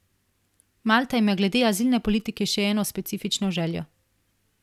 Malta ima glede azilne politike še eno specifično željo.